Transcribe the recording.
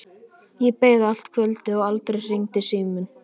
Ég beið allt kvöldið og aldrei hringdi síminn.